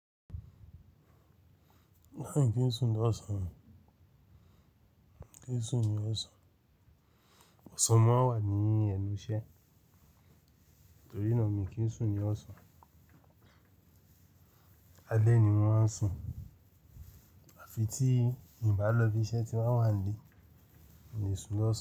Láì kí n sùn ní ọ̀sán, kí n sùn ní ọ̀sán, ọ̀sán máa ń wà ní ẹnù iṣẹ́, torí náà mi kí n sùn ní ọ̀sán. Alẹ́ ni mọ́ maa n á sùn àfi tí ì bá lọ ibi iṣẹ́ tí wọ́n wá le, mo lè sùn lọ́sàn-án.